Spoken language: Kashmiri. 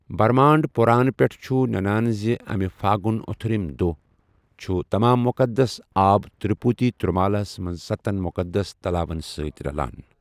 بھرمانڈ پُران پیٹھہٕ چُھ ننان زِ امہِ پھاگُنی اتھیرم دوہ ، چھ، تمام مُقَدس آب تِروٗپتی تِروٗمالاہس منٛز سَتَن مُقَدس تلاون سۭتۍ رَلان۔